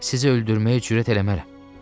Sizi öldürməyə cürət eləmərəm.